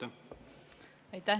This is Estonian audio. Aitäh!